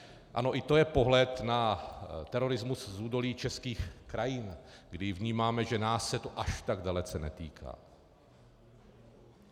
Ano, i to je pohled na terorismus z údolí českých krajů, kdy vnímáme, že nás se to až tak dalece netýká.